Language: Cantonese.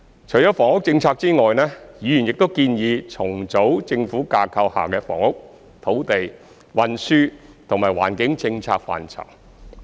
除房屋政策外，議員亦建議重組政府架構下的房屋、土地、運輸及環保政策範疇。